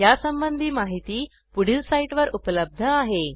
यासंबंधी माहिती पुढील साईटवर उपलब्ध आहे